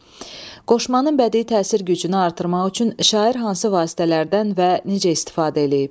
Qoşmanın bədii təsir gücünü artırmaq üçün şair hansı vasitələrdən və necə istifadə eləyib?